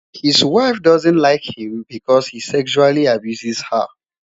his wife doesn't like him because he sexually abuses her